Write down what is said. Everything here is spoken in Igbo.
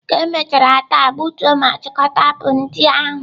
Ka emechara taa, gbutuo ma chịkọta apụl ndị ahụ!